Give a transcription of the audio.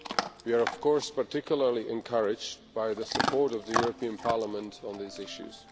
We are of course particularly encouraged by the support of the European Parliament on these issues.